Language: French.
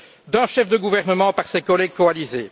d'un chef de gouvernement par ses collègues coalisés?